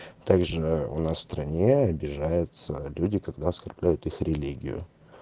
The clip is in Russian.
также у нас в стране обижаются люди когда оскорбляют их религию